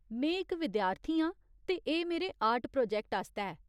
में इक विद्यार्थी आं ते एह् मेरे आर्ट प्रोजैक्ट आस्तै ऐ।